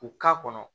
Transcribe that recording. U k'a kɔnɔ